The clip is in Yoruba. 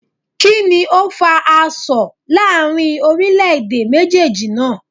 Kíni o fa asọ̀ láàrin orílé èdè méjéèjì naa?